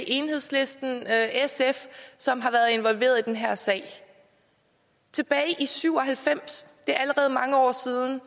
enhedslisten sf som har været involveret i den her sag tilbage i nitten syv og halvfems det er allerede mange år siden